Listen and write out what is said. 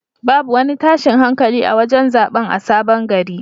Babu wani tashin hankali a wajen zaɓen a sabon gari.